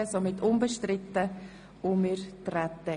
Somit treten wir darauf ein.